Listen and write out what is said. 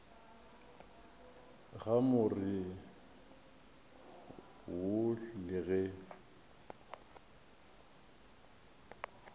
ga more wo le ge